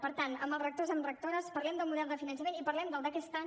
per tant amb els rectors amb rectores parlem del model de finançament i parlem del d’aquest any